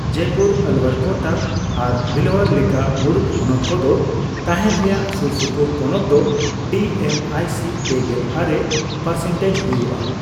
ᱡᱚᱭᱯᱩᱨ, ᱟᱞᱣᱭᱟᱨ, ᱠᱳᱴᱟ, ᱟᱨ ᱵᱷᱤᱞᱚᱣᱟᱭᱟᱨ ᱞᱮᱠᱟ ᱢᱩᱬᱩᱫ ᱦᱚᱱᱚᱛ ᱠᱚᱫᱚ ᱛᱟᱦᱮᱱ ᱨᱮᱭᱟᱜ ᱥᱩᱨᱥᱩᱯᱩᱨ ᱯᱚᱱᱚᱛ ᱫᱚ ᱰᱤᱮᱢᱟᱭᱥᱤ ᱯᱮᱜᱮᱞᱟᱨᱮ ᱯᱟᱨᱥᱮᱱᱴᱮᱡᱽ ᱦᱚᱭᱩᱜ ᱟ ᱾